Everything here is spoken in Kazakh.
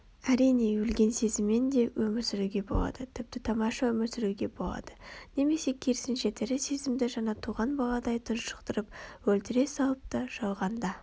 Әрине өлген сезіммен де өмір сүруге болады тіпті тамаша өмір сүруге болады немесе керісінше тірі сезімді жаңа туған баладай тұншықтырып өлтіре салып та жалғанда